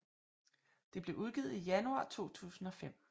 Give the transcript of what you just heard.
Det blev udgivet i januar 2005